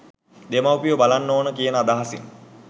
දෙමව්පියෝ බලන්න ඕන කියන අදහසින්